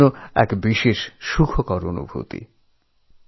এ আমার এক অত্যন্ত খুশির অনুভব